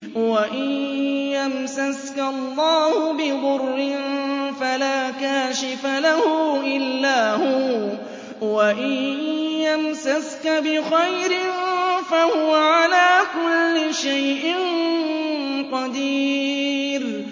وَإِن يَمْسَسْكَ اللَّهُ بِضُرٍّ فَلَا كَاشِفَ لَهُ إِلَّا هُوَ ۖ وَإِن يَمْسَسْكَ بِخَيْرٍ فَهُوَ عَلَىٰ كُلِّ شَيْءٍ قَدِيرٌ